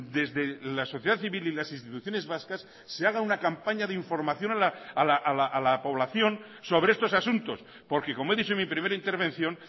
desde la sociedad civil y las instituciones vascas se haga una campaña de información a la población sobre estos asuntos porque como he dicho en mi primera intervención